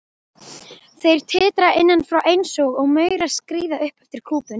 Þær titra innan frá einsog maurar skríði upp eftir kúpunni.